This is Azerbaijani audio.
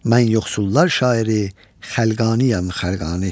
Mən yoxsullar şairi Xəlqaniyəm, Xəlqani.